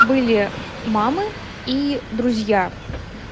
были мамы и друзья